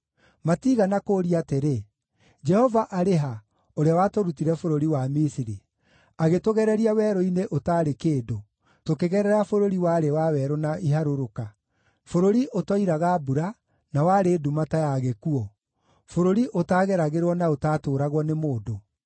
Matiigana kũũria atĩrĩ: ‘Jehova arĩ ha, ũrĩa watũrutire bũrũri wa Misiri, agĩtũgereria werũ-inĩ ũtaarĩ kĩndũ, tũkĩgerera bũrũri warĩ wa werũ na iharũrũka, bũrũri ũtoiraga mbura, na warĩ nduma ta ya gĩkuũ, bũrũri ũtaageragĩrwo na ũtaatũũragwo nĩ mũndũ?’